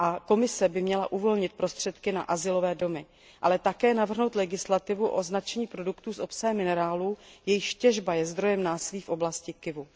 Komise by měla uvolnit prostředky na azylové domy, ale také navrhnout legislativu pro označení produktů s obsahem minerálů, jejichž těžba je zdrojem násilí v oblasti Kivu.